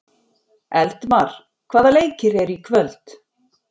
Eldmar, hvaða leikir eru í kvöld?